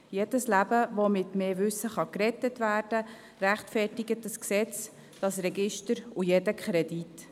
Jedes Leben, das mit mehr Wissen gerettet werden kann, rechtfertigt das Gesetz, das Register und jeden Kredit.